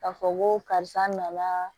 K'a fɔ ko karisa nana